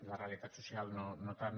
la realitat social no tant